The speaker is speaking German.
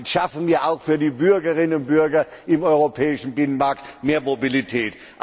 Damit schaffen wir auch für die Bürgerinnen und Bürger im europäischen Binnenmarkt mehr Mobilität.